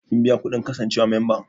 Kin biya kuɗin kasancewa memba?